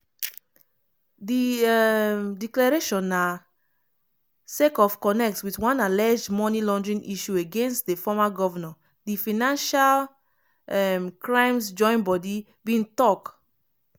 di um declaration na sake of connect wit one alleged money laundering issue against di former govnor di financial um crimes join-bodi bin tok.